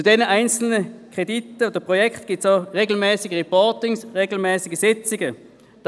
Zu den einzelnen Krediten und Projekten finden auch regelmässige Reportings und Sitzungen statt.